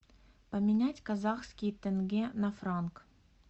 поменять казахские тенге на франк